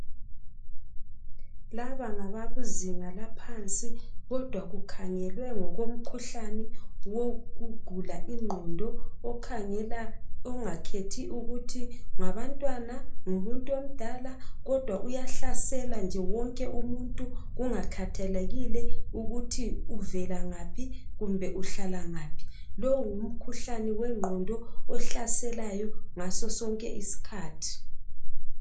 Laba ngabakuzinga laphansi, kodwa kukhangelwe ngokomkhuhlane wokugula ingqondo. Okhangela, ongakhethi ukuthi ngabantwana, ngumuntu omdala? Kodwa uyahlasela nje wonke umuntu, kungakhathalekile ukuthi uvela ngaphi, kumbe uhlala ngaphi. Lowu ngumkhuhlane wengqondo, ohlaselayo ngaso sonke isikhathi.